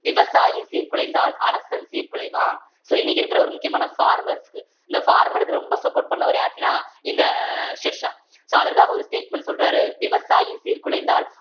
விவசாயி சீர்குலைந்தால் அரசன் சீர்குலைவான் so இன்னைக்கு இருக்கிற ஒரு முக்கியமான farmers க்கு இந்த farmers க்கு ரொம்ப support பண்ணவர் யாரு அப்படின்னா இந்த ஷெர்ஷா so அதற்காக ஒரு statement சொல்றாரு விவசாயி சீர்குலைந்தால்